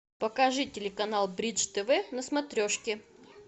покажи телеканал бридж тв на смотрешке